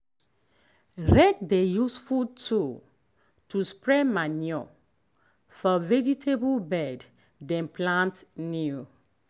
rake dey useful tool to spread manure for vegetable bed dem plant new.